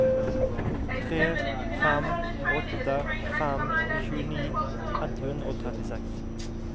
tre fem åtte fem tjueni ett hundre og trettiseks